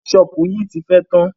Kẹ́ṣọpù yìí ti fẹ́ tán.